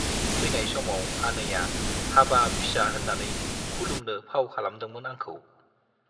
फैनाय समाव आनैया हाबाब फिसा होन्नानै खुलुमनो फाव खालामदोंमोन आंखौ।